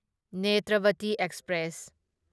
Netravati express